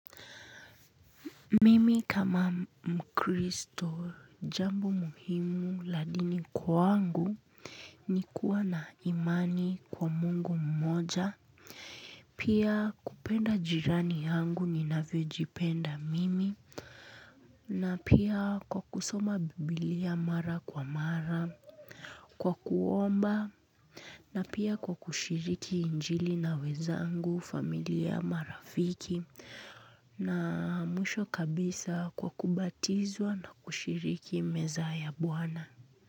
Mimi kama mkristo jambo muhimu la dini kwangu ni kuwa na imani kwa Mungu mmoja. Pia kupenda jirani yangu ninavyojipenda mimi na pia kwa kusoma Biblia mara kwa mara kwa kuomba na pia kwa kushiriki injili na wenzangu familia marafiki. Na mwisho kabisa kwa kubatizwa na kushiriki meza ya bwana.